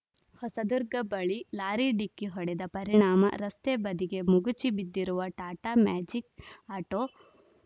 ಹೊಸದುರ್ಗ ಬಳಿ ಲಾರಿ ಡಿಕ್ಕಿ ಹೊಡೆದ ಪರಿಣಾಮ ರಸ್ತೆ ಬದಿಗೆ ಮಗುಚಿ ಬಿದ್ದಿರುವ ಟಾಟಾ ಮ್ಯಾಜಿಕ್‌ ಆಟೋ